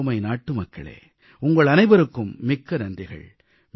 எனதருமை நாட்டுமக்களே உங்கள் அனைவருக்கும் மிக்க நன்றிகள்